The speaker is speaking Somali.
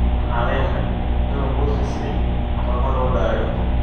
Waxan lenahy inu buurtan sidhay toxo loodayo.